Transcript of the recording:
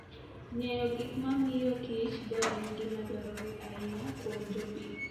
Ng'eyo gik mamiyo kich tho en gima dwarore ahinya kuom jopith.